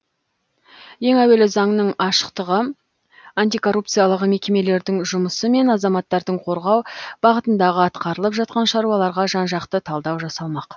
ең әуелі заңның ашықтығы антикоррупциялық мекемелердің жұмысы мен азаматтарды қорғау бағытындағы атқарылып жатқан шаруаларға жан жақты талдау жасалмақ